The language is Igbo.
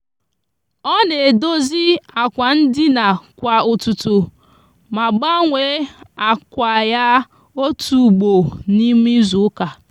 o n'edozi akwa ndina kwa ututu ma gbanwe akwa ya otu ugbo n'ime izuuka.